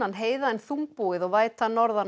heiða en þungbúið og væta norðan